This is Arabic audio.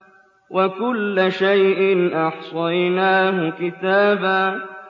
وَكُلَّ شَيْءٍ أَحْصَيْنَاهُ كِتَابًا